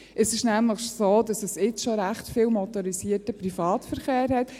Es ist nämlich so, dass es jetzt schon recht viel motorisierten Privatverkehr gibt.